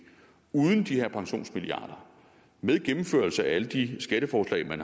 uden de her pensionsmilliarder og med gennemførelse af alle de skatteforslag man